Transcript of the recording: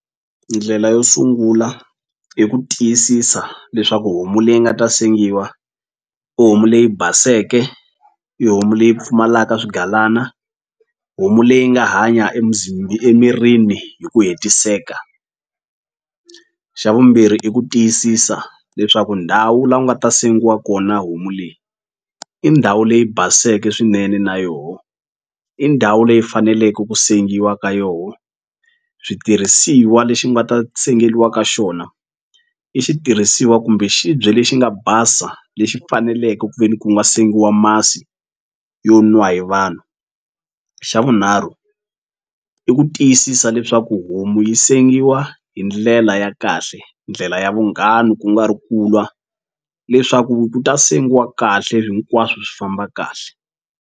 Ndlela yo sungula i ku tiyisisa leswaku homu leyi nga ta sengiwa i homu leyi baseke i homu leyi pfumalaka swigalana homu leyi nga hanya emirini hi ku hetiseka xa vumbirhi i ku tiyisisa leswaku ndhawu la u nga ta sengiwa kona homu leyi i ndhawu leyi baseke swinene na yonho i ndhawu leyi faneleke ku sengiwa ka yona switirhisiwa lexi nga ta sengeliwa ka xona i xitirhisiwa kumbe xibye lexi nga basa lexi faneleke ku ve ni ku nga sengiwa masi yo nwa hi vanhu xa vunharhu i ku tiyisisa leswaku homu yi sengiwa hi ndlela ya kahle ndlela ya vunghana ku nga ri ku lwa leswaku ku ta sengiwa kahle hinkwaswo swi famba kahle.